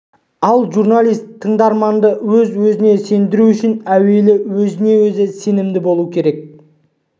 ал журналист тыңдарманды өз сөзіне сендіруі үшін әуелі өзіне-өзі сенімді болуы керек